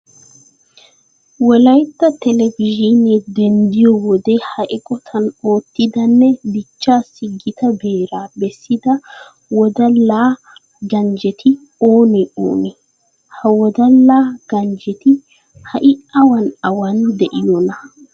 Wolaytta televizhiinee denddiyo wode ha eqotan oottidanne dichchaassi gita beeraa bessida wodala ganjjeti oonee oonee? Ha wodala ganjjeti ha"i awan awan de'iyonaa?